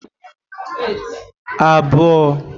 abụọ